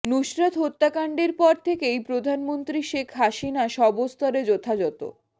নুসরাত হত্যাকাণ্ডের পর থেকেই প্রধানমন্ত্রী শেখ হাসিনা সবস্তরে যথাযথ